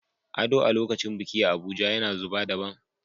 Ado a lokacin biki a Abuja yana zuba daban.